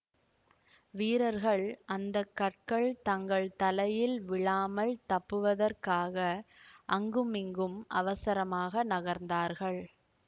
வீரர்கள் அந்த கற்கள் தங்கள் தலையில் விழாமல் தப்புவதற்காக அங்குமிங்கும் அவசரமாக நகர்ந்தார்கள்